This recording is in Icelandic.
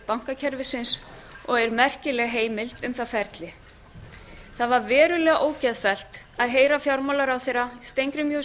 bankakerfisins og er merkileg heimild um það ferli það var verulega ógeðfellt að heyra fjármálaráðherra steingrím j